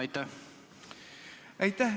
Aitäh!